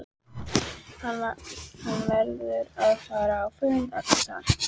Hann verður að fara á fund Agnesar!